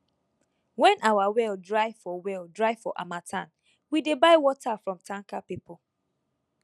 when our well dry for well dry for harmattan we dey buy water from tanker people